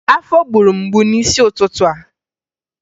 Afọ gburu m mgbu n'isi ụtụtụ a